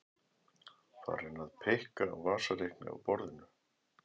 Farin að pikka á vasareikni á borðinu.